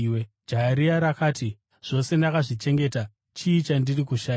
Jaya riya rakati, “Zvose ndakazvichengeta. Chii chandichiri kushayiwa?”